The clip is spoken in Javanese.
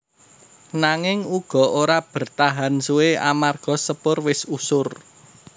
Nanging uga ora bertahan suwé amarga Sepur wis usur